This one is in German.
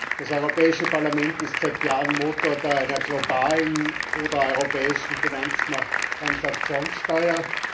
Das Europäische Parlament ist seit Jahren Motor einer globalen oder europäischen Finanztransaktionssteuer.